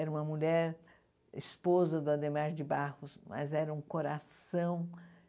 Era uma mulher esposa do Adhemar de Barros, mas era um coração